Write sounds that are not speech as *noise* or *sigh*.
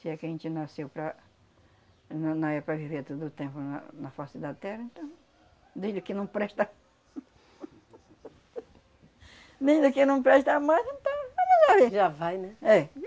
Se é que a gente nasceu para... Não não é para viver todo o tempo na na face da terra, então... Desde que não presta... Desde que não presta mais, então... *unintelligible* Já vai, né?